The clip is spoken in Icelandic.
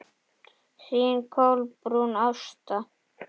Þín Kolbrún Ásta.